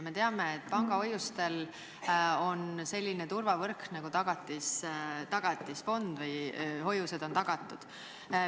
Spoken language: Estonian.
Me teame, et pangahoiustel on selline turvavõrk nagu Tagatisfond – hoiused on tagatud.